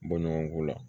Bɔ ɲɔgɔnko la